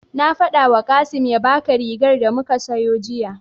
Na faɗawa Kasim ya baka rigar da muka siyo jiya.